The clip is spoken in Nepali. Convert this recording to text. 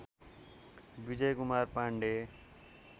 विजयकुमार पाण्डे